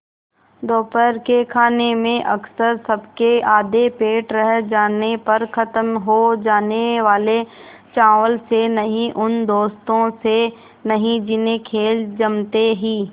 दोपहर के खाने में अक्सर सबके आधे पेट रह जाने पर ख़त्म हो जाने वाले चावल से नहीं उन दोस्तों से नहीं जिन्हें खेल जमते ही